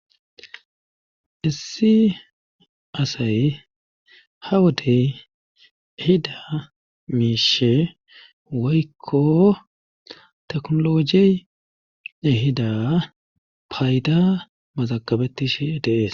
Issi asay ha wodey ehida miishe woykko teknologey ehida payda mazagabettishe dees.